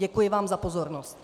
Děkuji vám za pozornost.